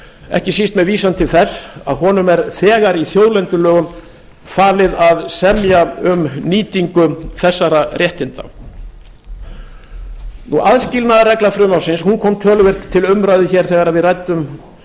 ekki síst með vísan til þess að honum er þegar í þjóðlendulögum falið að semja um nýtingu þessara réttinda aðskilnaðarregla frumvarpsins kom töluvert til umræðu hér þegar við ræddum